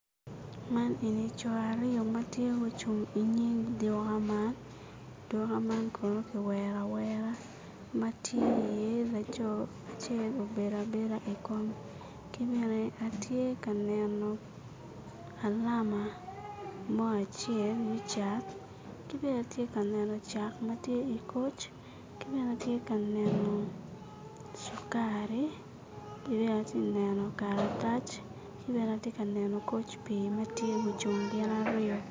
Man eni co ariyo ma tye mucung i nyim duka man kono ki wero awera ma tye iye laco acel obedo abedo ki bene tye ka neno alama mo acel me cak ki bene tye ka neno cak ma tye i koc ki bene tye ka neno cukari ki bene tye ka neno karatac ki bene atye ka neno koc pii ma tye mucung gin ariyo